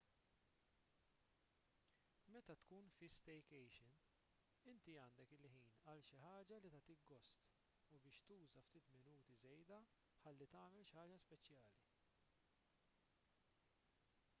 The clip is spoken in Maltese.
meta tkun fi staycation inti għandek il-ħin għal xi ħaġa li tagħtik gost u biex tuża ftit minuti żejda ħalli tagħmel xi ħaġa speċjali